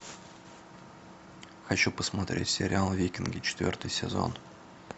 хочу посмотреть сериал викинги четвертый сезон